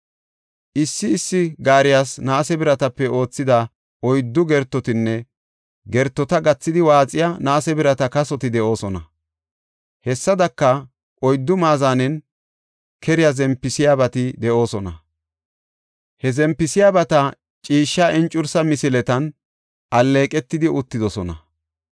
Issi issi gaariyas naase biratape oothida oyddu gertotinne gertota gathidi waaxiya naase birata kasoti de7oosona. Hessadaka, oyddu maazanen keriya zempisiyabati de7oosona. He zempisiyabati ciishsha encursa misiletan alleeqetidi uttidosona.